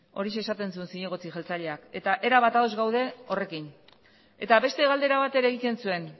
horixe esaten zuen zinegotzi jeltzaleak eta erabat ados gaude horrekin eta beste galdera bat ere egiten zuen